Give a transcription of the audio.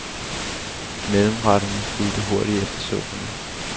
Mellemretterne fulgte hurtigt efter supperne.